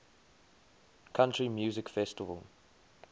country music festival